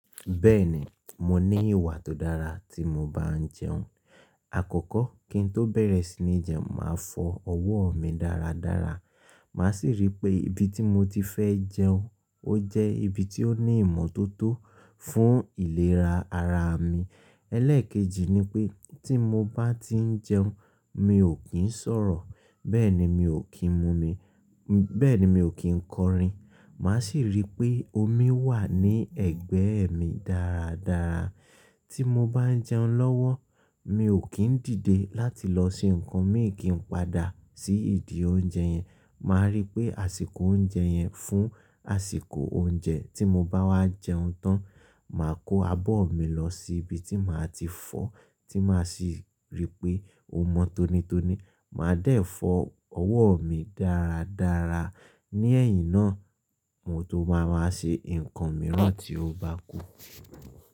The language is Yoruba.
Bẹ́ẹ̀ni, mo ní ìwà tó dára tí mo bá ń jẹun. Àkọ́kọ́ kí n tó bẹ̀rẹ̀ sí ní jẹun, màá fọ ọwọ́ mi dáradára. Màá sì rí pé ibi tí mo ti fẹ́ jẹun ó jẹ́ ibi tí ó ní ìmọ́tótó fún ìlera ara mi. Ẹlẹ́ẹ̀kejì ni pé tí mo bá ti ń jẹun, mi ò kí ń sọ̀rọ̀ bẹ́ẹ̀ ni mi ò kí ń kọrin. Màá sì rí pé omi wà ní ẹ̀gbẹ́ mi dáradára. Tí mo bá ń jẹun lọ́wọ́ mi ò kí ń dìde láti lọ ṣe nǹkan mi kì ń padà sí ìdí oúnjẹ yẹn. Màá rí pé àsìkò oúnjẹ yẹn fún àsìkò oúnjẹ. Tí mo bá wá jẹun tán, màá kó abọ́ mi lọ sí ibi tí màá ti fọ tí màá sì rí pé ó mọ́ tónitoni. Màá dẹ̀ fọ ọwọ́ mi dáradára. Ní ẹ̀yìn náà mo tó máa máa ṣe nǹkan mìíràn tí ó bá kú.